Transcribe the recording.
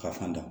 Ka fan da